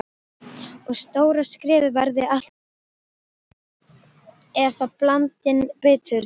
Og stóra skrefið verði alltaf hlaðið efablandinni biturð.